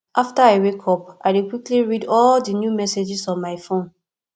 after i wake up i dey quickly read all the new messages on my phone